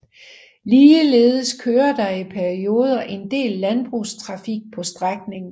Ligeledes kører der i perioder en del landbrugstrafik på strækningen